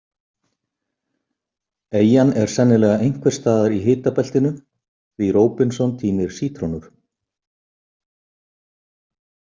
Eyjan er sennilega einhvers staðar í hitabeltinu því Róbinson tínir sítrónur.